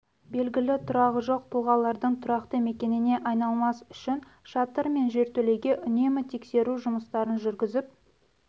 белгілі тұрағы жоқ тұлғалардың тұрақты мекеніне айналмас үшін шатыр мен жертөлеге үнемі тексеру жұмыстарын жүргізіп